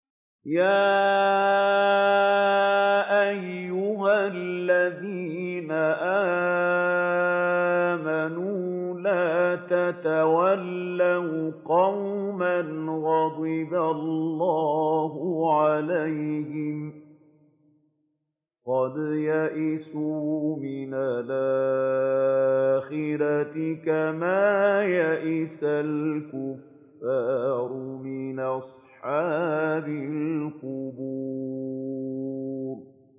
يَا أَيُّهَا الَّذِينَ آمَنُوا لَا تَتَوَلَّوْا قَوْمًا غَضِبَ اللَّهُ عَلَيْهِمْ قَدْ يَئِسُوا مِنَ الْآخِرَةِ كَمَا يَئِسَ الْكُفَّارُ مِنْ أَصْحَابِ الْقُبُورِ